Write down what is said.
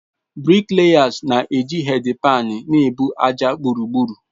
Briklayasi na-eji hedpaani na-ebu ájá gburugburu.